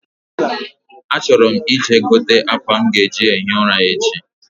A chọrọ m i je gote akwa nwa m ga eji ehi ụra echi